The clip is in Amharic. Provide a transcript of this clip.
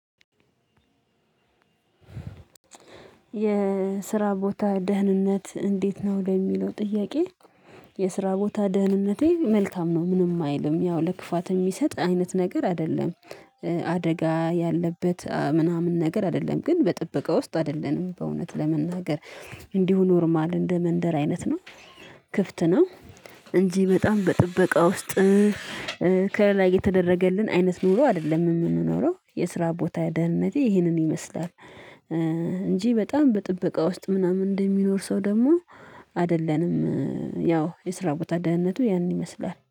የስራ ቦታ ደህንነት እንዴት ነው ለሚለው ጥያቄ? የስራ ቦታ ደህንነቴ መልካም ነው ምንም አይልም ያው ለክፋት የሚሰጥ አይነት ነገር አይደለም። አደጋ ያለበት ምናምን ነገር አይደለም ግን በጥበቃ ውስጥ አይደለንም በእውነት ለመናገር። እንዲሁ ኖርማል እንደ መንደር አይነት ነው። ክፍት ነው። እንጂ በጣም በጥበቃ ውስጥ። ከላይ የተደረገልን አይነት ኑሮ አይደለም የምንኖረው የስራ ቦታ ደህንነቴ ይህንን ይመስላል። እንጂ በጣም በጥበቃ ውስጥ ምናምን እንደሚኖር ሰው ደግሞ አይደለንም። ያው የስራ ቦታ ደህንነቱ ያንን ይመስላል